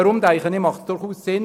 Deshalb macht es durchaus Sinn.